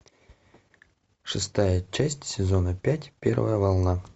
шестая часть сезона пять первая волна